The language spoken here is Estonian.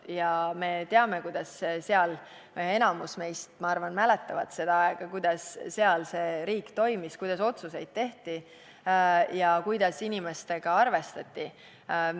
Ja me teame – enamik meist, ma arvan, mäletab seda aega –, kuidas seal see riik toimis, kuidas otsuseid tehti ja kuidas inimestega arvestati.